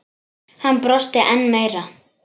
Hann brosti enn meira.